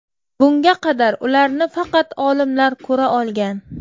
Bunga qadar ularni faqat olimlar ko‘ra olgan.